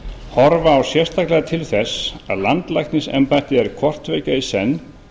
horfa á sérstaklega til þess að landlæknisembættið er hvort tveggja í senn